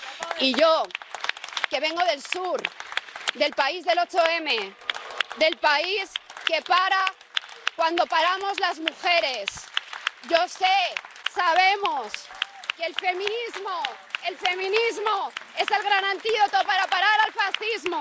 Y yo, que vengo del sur, del país del 8 M, del país que para cuando paramos las mujeres, yo sé, sabemos, que el feminismo es el gran antídoto para parar al fascismo.